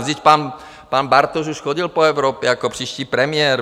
Vždyť pan Bartoš už chodil po Evropě jako příští premiér.